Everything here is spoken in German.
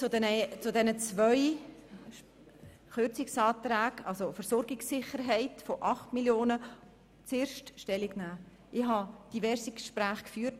Ich möchte zu den zwei Kürzungsanträgen Stellung nehmen, zuerst zu den 8 Mio. Franken betreffend die Versorgungssicherheit.